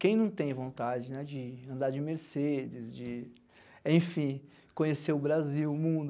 Quem não tem vontade de andar de Mercedes, de, enfim, conhecer o Brasil, o mundo?